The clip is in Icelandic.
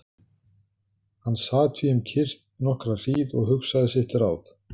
Hann sat því um kyrrt nokkra hríð og hugsaði sitt ráð.